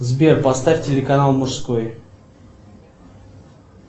сбер поставь телеканал мужской